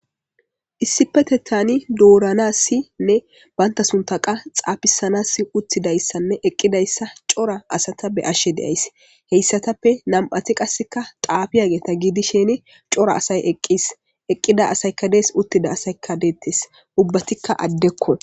Issippetethan doranasine banta suntha xafisanas shiqi utidaysane eqidaysa beyashe ta daysi hesatappeka nam'ati qaseka xafiyageta gidishin cora asay eqis eqida asayka des uttida asayka detes ubbatika addeko